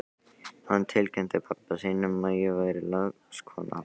Hann tilkynnti pabba sínum að ég væri lagskona hans!